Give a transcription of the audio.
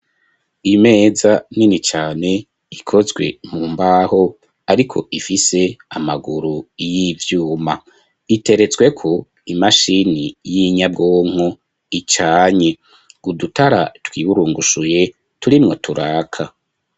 Imeza nini cane ikozwe mu mbaho ariko ifise amaguru y'ivyuma iteretswe ko imashini y'inyabwonko icanye udutara twiburungushuye turimwo turaka.